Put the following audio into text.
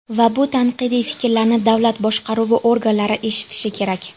Va bu tanqidiy fikrlarni davlat boshqaruvi organlari eshitishi kerak.